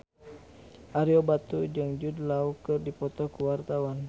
Ario Batu jeung Jude Law keur dipoto ku wartawan